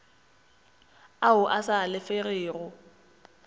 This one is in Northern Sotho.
ao a sa alafegego a